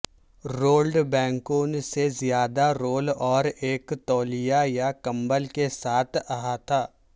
ruled بینکوں سے زیادہ رول اور ایک تولیہ یا کمبل کے ساتھ احاطہ